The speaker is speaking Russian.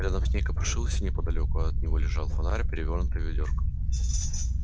рядом с ней копошился неподалёку от него лежал фонарь перевёрнутое ведёрко